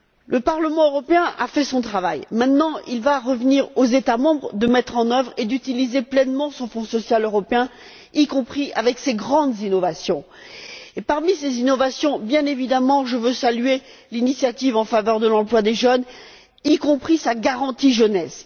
Le Parlement européen a fait son travail. Il reviendra maintenant aux États membres de mettre en œuvre et d'utiliser pleinement son Fonds social européen, y compris avec ses grandes innovations. Parmi ces innovations, je veux bien évidemment saluer l'initiative en faveur de l'emploi des jeunes, y compris sa garantie jeunesse.